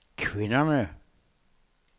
kvinderne